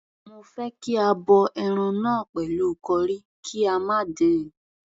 Mo fẹ́ kí a bọ ẹran náà pẹ̀lú curry, kí a má dín-in..